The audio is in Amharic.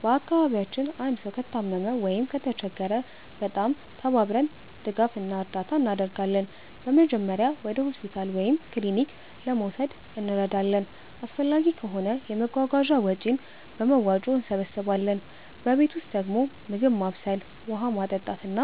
በአካባቢያችን አንድ ሰው ከታመመ ወይም ከተቸገረ በጣም ተባብረን ድጋፍ እና እርዳታ እናደርጋለን። በመጀመሪያ ወደ ሆስፒታል ወይም ክሊኒክ ለመውሰድ እንረዳለን፣ አስፈላጊ ከሆነ የመጓጓዣ ወጪን በመዋጮ እንሰብስባለን። በቤት ውስጥ ደግሞ ምግብ ማብሰል፣ ውሃ ማመጣት፣ እና